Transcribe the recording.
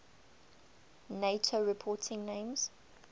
nato reporting names